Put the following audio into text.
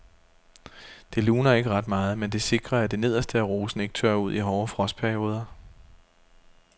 Det luner ikke ret meget, men det sikrer at det nederste af rosen ikke tørrer ud i hårde frostperioder.